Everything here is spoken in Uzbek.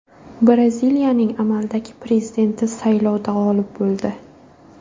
Braziliyaning amaldagi prezidenti saylovda g‘olib bo‘ldi.